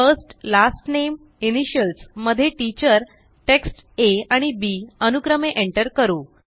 first last name initials मध्येTeacherटेक्स्ट Aआणि B अनुक्रमे एंटर करू